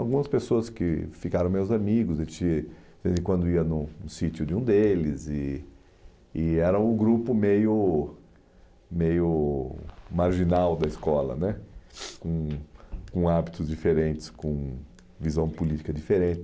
Algumas pessoas que ficaram meus amigos, e que, de vez em quando eu ia no no sítio de um deles e e era um grupo meio meio marginal da escola né, com com hábitos diferentes, com visão política